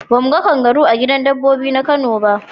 Ba mu ga kangaru a gidan dabbobi na kano ba.